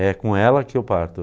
É com ela que eu parto.